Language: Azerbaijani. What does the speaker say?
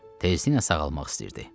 Tezliklə sağalmaq istəyirdi.